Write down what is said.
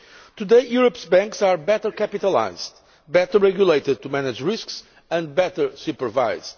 Today, Europe's banks are better capitalised, better regulated to manage risks, and better supervised.